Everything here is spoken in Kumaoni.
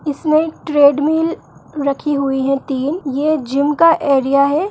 इसमें ट्रेड्मिल रखी हुई है तीन ये जिम का एरिआ है।